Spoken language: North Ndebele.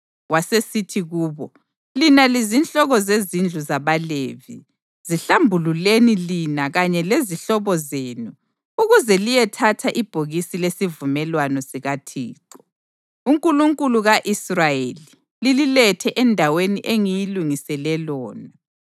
Wasesithi kubo, “Lina lizinhloko zezindlu zabaLevi, zihlambululeni lina kanye lezihlobo zenu ukuze liyethatha ibhokisi lesivumelwano sikaThixo, uNkulunkulu ka-Israyeli, lililethe endaweni engiyilungisele lona.